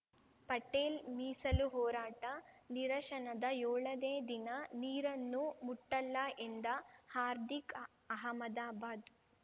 ಪಟೇಲ್‌ ಮೀಸಲು ಹೋರಾಟ ನಿರಶನದ ಯೋಳನೇ ದಿನ ನೀರನ್ನೂ ಮುಟ್ಟಲ್ಲ ಎಂದ ಹಾರ್ದಿಕ್‌ ಅಹಮದಾಬಾದ್‌